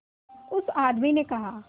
उस आदमी ने कहा